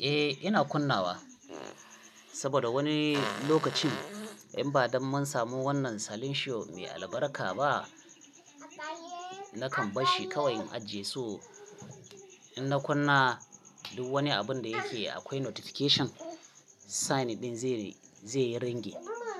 Eh, ina kunnawa saboda wani lokacin in ba dan mun samu wannan selencio mai albarka ba, nakan bashi kawai in ajiye su. In na kunna duk wani abun da yake akwai notification, sign din zai yi ringin.